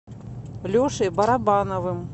лешей барабановым